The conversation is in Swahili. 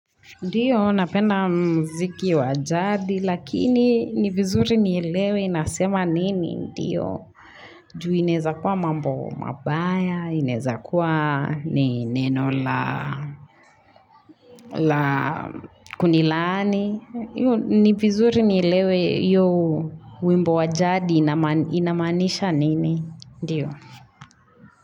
Ndiyo, napenda mziki wa jadi, lakini ni vizuri nielewe inasema nini, ndiyo. Ju inaezakua mambo mabaya, inaezakua neno la kunilaani. Ni vizuri nielewe hiyo wimbo wa jadi inamaanisha nini, ndiyo.